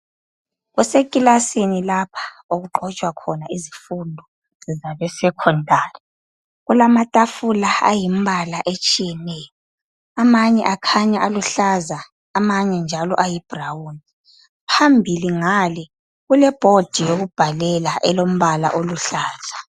Kusekilasini lapha, okuxotshwa khona izifundo zabesecondary. Kulamatafula, ayimbala etshiyeneyo. Amanye akhanya aluhlaza, amanye njalo ayibrown. Phambili ngale, kuleboard yokubhalela, elombala oluhlaza.